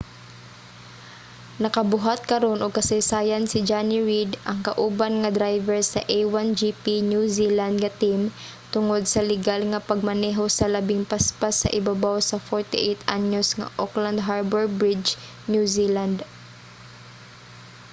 nakabuhat karon og kasaysayan si jonny reid ang kauban nga driver sa a1gp new zealand nga team tungod sa ligal nga pagmaneho sa labing paspas sa ibabaw sa 48-anyos nga auckland harbor bridge new zealand